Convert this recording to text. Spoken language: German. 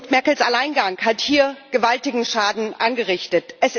Merkels Alleingang hat hier gewaltigen Schaden angerichtet.